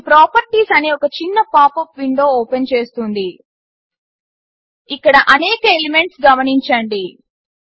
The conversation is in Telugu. ఇది ప్రాపర్టీస్ అనే ఒక చిన్న పాపప్ విండో ఓపెన్ చేస్తుంది ఇక్కడ అనేక ఎలిమెంట్స్ గమనించండి